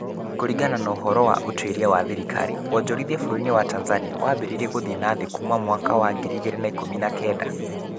Kuringana ũhoro wa ũtuĩria wa thirikari, wonjorithia bũrũri-inĩ wa Tanzania wambĩrĩirie gũthiĩ na thĩ kuuma mwaka wa ngiri igĩrĩ na ikũmi na kenda.